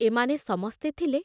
ଏମାନେ ସମସ୍ତେ ଥିଲେ